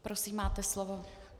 Prosím, máte slovo.